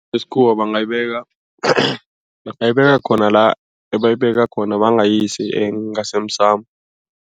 bangayibeka bangayibeka khona la ebayibeka khona bangayisi ngasemsamo.